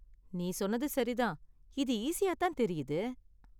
நீ சொன்னது சரி தான்! இது ஈஸியா தான் தெரியுது.